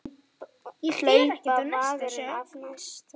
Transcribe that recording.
Hlaupa varginn af sér.